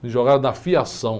Me jogaram na fiação.